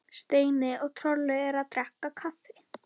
Steini og Tolli eru að drekka kaffi.